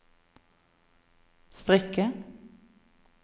strikke